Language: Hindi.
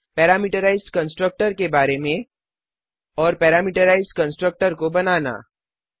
पैरामेट्राइज्ड कंस्ट्रक्टर के बारे में और पैरामीटराइज्ड कंस्ट्रक्टर को बनाना